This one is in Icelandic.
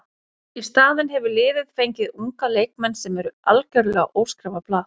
Í staðinn hefur liðið fengið unga leikmenn sem eru algjörlega óskrifað blað.